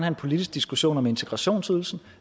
en politisk diskussion om integrationsydelsen